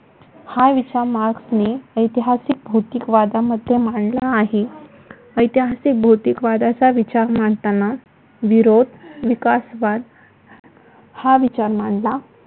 हा विचार मार्क्सने ऐतिहासिक भौतिक वादामध्ये मांडला आहे. ऐतिहासिक भौतिक वादाचा विचार मांडताना विरोध विकासवाद हा विचार मांडला.